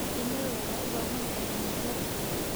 Shinnidu waxay u baahan tahay meelo ku filan.